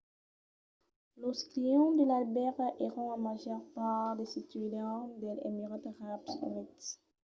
los clients de l'albèrga èran en màger part de ciutadans dels emirats arabs units